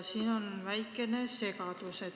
Siin on väikene segadus.